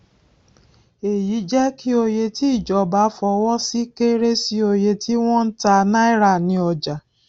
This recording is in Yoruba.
èyí jẹ kí òye tí ìjọba fọwọ sí kéré sí òye tí wọn ń tà náírà ní ọjà